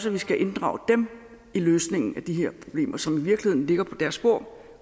at vi skal inddrage dem i løsningen af de her problemer som i virkeligheden ligger på deres bord